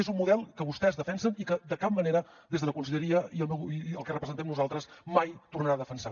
és un model que vostès defensen i que de cap manera des de la conselleria i el que representem nosaltres mai tornarà a defensar